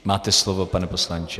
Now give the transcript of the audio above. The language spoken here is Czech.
Máte slovo, pane poslanče.